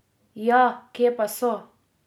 Ja, kje pa so?